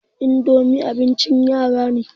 idomi abincin yara ne